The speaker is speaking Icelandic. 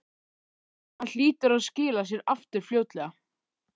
Hann hlýtur að skila sér aftur fljótlega